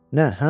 Nə, hə?